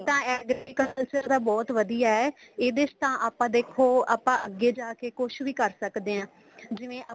ਤਾਂ agriculture ਦਾ ਬਹੁਤ ਵਧੀਆ ਏ ਇਹਦੇ ਚ ਤਾਂ ਆਪਾਂ ਦੇਖੋ ਆਪਾਂ ਅੱਗੇ ਜਾਕੇ ਕੁੱਛ ਵੀ ਕਰ ਸਕਦੇ ਹਾਂ ਜਿਵੇਂ